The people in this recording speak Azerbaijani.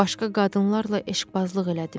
Başqa qadınlarla eşqbazlıq elədim.